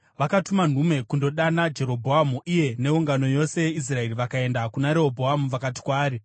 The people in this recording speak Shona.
Vakatuma nhume kundodana Jerobhoamu, iye neungano yose yeIsraeri vakaenda kuna Rehobhoamu vakati kwaari,